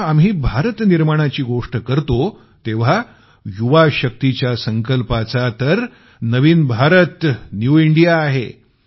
जेव्हा आम्ही भारत निर्माणाची गोष्ट करतो तेव्हा युवा शक्तीच्या संकल्पाचा तर नवीन भारत न्यू इंडिया आहे